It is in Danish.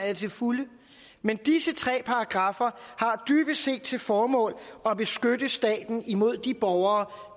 jeg til fulde men disse tre paragraffer har dybest set til formål at beskytte staten imod de borgere